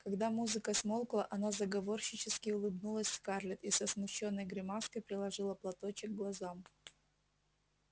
когда музыка смолкла она заговорщически улыбнулась скарлетт и со смущённой гримаской приложила платочек к глазам